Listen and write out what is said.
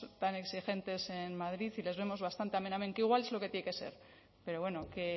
tan exigentes en madrid y les vemos bastante amen amen que igual es lo que tiene que ser pero bueno que